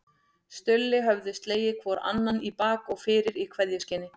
Stulli höfðu slegið hvor annan í bak og fyrir í kveðjuskyni.